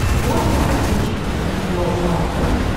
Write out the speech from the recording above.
можешь включить видео арт